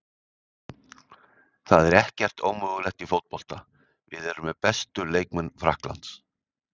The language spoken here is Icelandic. En það er ekkert ómögulegt í fótbolta, við erum með bestu leikmenn Frakklands.